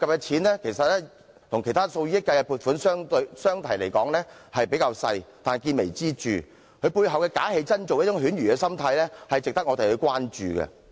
雖然相對其他以億元計的撥款而言，這項計劃涉及的款額較小，但見微知著，其背後"假戲真做"的犬儒心態值得關注。